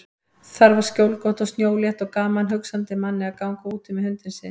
Þar var skjólgott og snjólétt og gaman hugsandi manni að ganga úti með hundinn sinn.